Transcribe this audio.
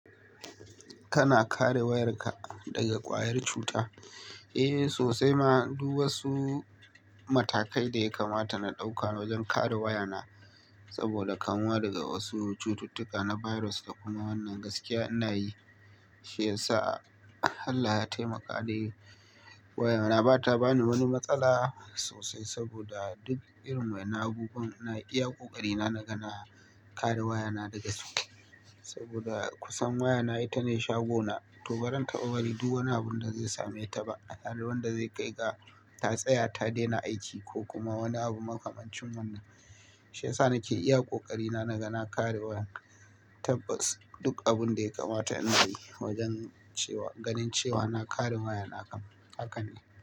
Kana kare wayarka daga ƙwayar cuta? Eh sosai ma, duk wasu matakai da ya kamata na ɗauka wajen kare wayana saboda kanwa daga wasu cututtuka na virus da kuma wannan gaskiya ina yi, shi yasa Allah ya taimaka da wayana bata bani wani matsala sosai saboda duk irin wainan abubuwa ina iya ƙoƙari na nagana kare wayana daga su. Saboda kusan wayana ita ne shagona, to barantaɓa bari duk wani abun da zai same ta ba, har wanda zai kai ga ta tsaya ta daina aiki ko kuma wani abu makamancin wannan. Shi yasa nake iya ƙoƙari na nagana kare wayar tabbas duk abun da ya kamata in yi wajen cewa ganin cewa na kare wayana kam haka ne.